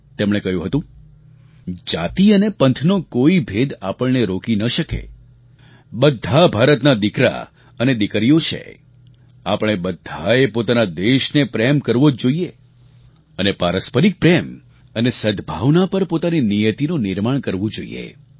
તેમણે કહ્યું હતું જાતિ અને પંથનો કોઈ ભેદ આપણને રોકી ન શકે બધા ભારતના દીકરા અને દીકરીઓ છે આપણે બધાએ પોતાના દેશને પ્રેમ કરવો જોઈએ અને પારસ્પરિક પ્રેમ અને સદભાવના પર પોતાની નિયતિનું નિર્માણ કરવું જોઈએ